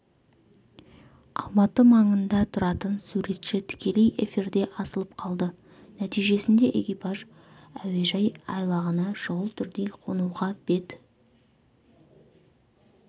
алматы маңында тұратын суретші тікелей эфирде асылып қалды нәтижесінде экипаж әуежай айлағына шұғыл түрде қонуға бет